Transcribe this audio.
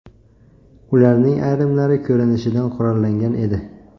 Ularning ayrimlari, ko‘rinishidan, qurollangan edi.